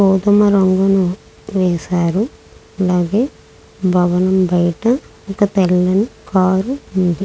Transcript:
గోధుమ రంగును వేశారు అలాగే భవనం బయట ఒక తెల్లని కారు ఉంది.